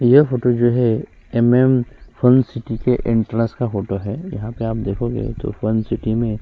यह फोटो जो है एमएम फन सिटी के एंट्रेंस का फोटो है यहाँ पर आप देखोगे तो फन सिटी